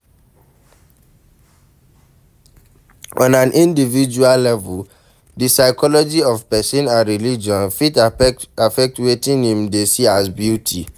on an individual level, di psychology of person and religion fit affect wetin im dey see as beauty